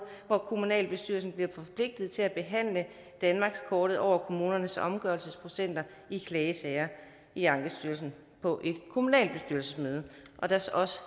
hvor kommunalbestyrelsen bliver forpligtet til at behandle danmarkskortet over kommunernes omgørelsesprocenter i klagesager i ankestyrelsen på et kommunalbestyrelsesmøde og der skal også